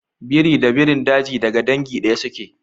Biri da birin daji daga dangi ɗaya suke.